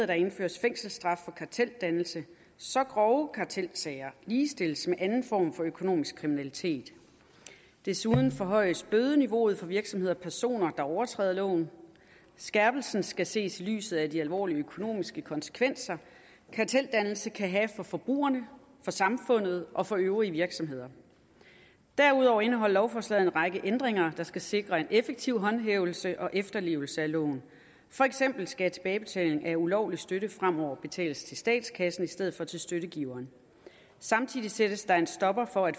der indføres fængselsstraf for karteldannelse så grove kartelsager ligestilles med anden form for økonomisk kriminalitet desuden forhøjes bødeniveauet for virksomheder og personer der overtræder loven skærpelsen skal ses i lyset af de alvorlige økonomiske konsekvenser karteldannelse kan have for forbrugerne for samfundet og for øvrige virksomheder derudover indeholder lovforslaget en række ændringer der skal sikre en effektiv håndhævelse og efterlevelse af loven for eksempel skal tilbagebetaling af ulovlig støtte fremover betales til statskassen i stedet for til støttegiveren samtidig sættes der en stopper for at